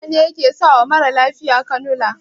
Likita ne yake sawa mara lafiya kanula